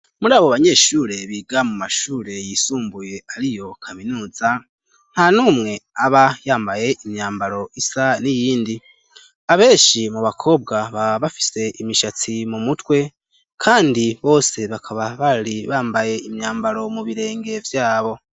Muri abo banyeshure biga mu mashure yisumbuye ari yo kaminuza, nta numwe aba yambaye imyambaro isa n'iyindi. Abenshi mu bakobwa baba bafise imishatsi mu mutwe, kandi bose bakaba bari bambaye imyambaro mu birenge vyabo.